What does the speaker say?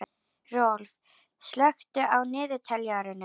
Rolf, slökktu á niðurteljaranum.